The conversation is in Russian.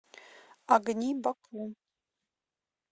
огни баку